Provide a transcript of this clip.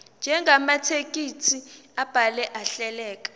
njengamathekisthi abhaleke ahleleka